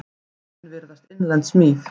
Orðin virðast innlend smíð.